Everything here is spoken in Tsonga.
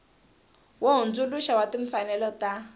wo hundzuluxa wa timfanelo ta